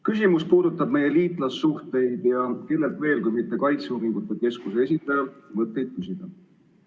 Küsimus puudutab meie liitlassuhteid ja kellelt veel kui mitte kaitseuuringute keskuse esindajalt mõtteid küsida.